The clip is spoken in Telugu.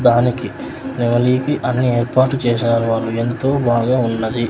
దానికి నెమలీ కి అన్నీ ఏర్పాటు చేశారు వాళ్ళు ఎంతో బాగా ఉన్నది.